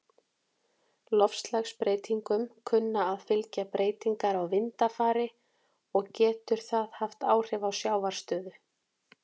Loftslagsbreytingum kunna að fylgja breytingar á vindafari, og getur það haft áhrif á sjávarstöðu.